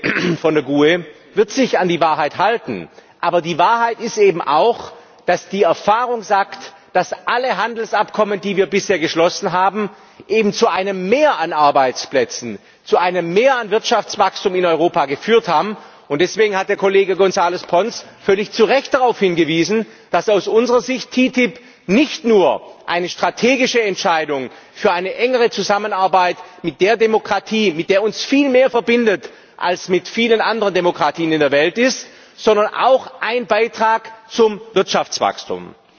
Frau Präsidentin, liebe Kolleginnen und Kollegen! Die EVP, Herr Kollege von der GUE, wird sich an die Wahrheit halten. Aber die Wahrheit ist eben auch, dass die Erfahrung sagt, dass alle Handelsabkommen, die wir bisher geschlossen haben, eben zu einem Mehr an Arbeitsplätzen, zu einem Mehr an Wirtschaftswachstum in Europa geführt haben. Deswegen hat der Kollege González Pons völlig zu Recht darauf hingewiesen, dass aus unserer Sicht die TTIP nicht nur eine strategische Entscheidung für eine engere Zusammenarbeit mit der Demokratie, mit der uns viel mehr verbindet als mit vielen anderen Demokratien in der Welt, ist, sondern auch ein Beitrag zum Wirtschaftswachstum.